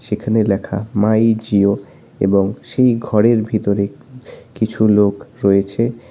এখানে লেখা মাই জিও এবং সেই ঘরের ভিতরে কিছু লোক রয়েছে।